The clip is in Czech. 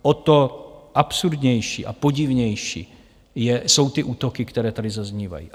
O to absurdnější a podivnější jsou ty útoky, které tady zaznívají.